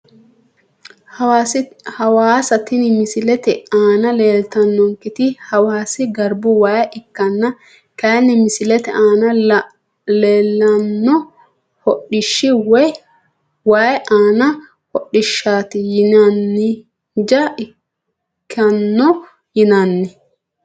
Hawaassa tini misilete aana leeltanonketi hawaasi garbu waa ikanna kayini misilete aana leelano hodhishi wayi aaani hodhishaati yinanija ikano yinani.